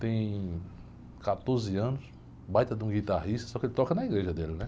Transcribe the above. Tem quatorze anos, baita de um guitarrista, só que ele toca na igreja dele, né?